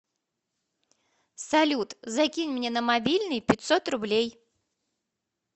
салют закинь мне на мобильный пятьсот рублей